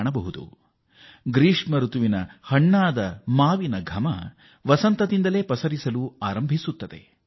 ಬೆಸಿಗೆಯ ಹಣ್ಣು ಮಾವಿನ ಹೂ ಬಿಡುತ್ತದೆ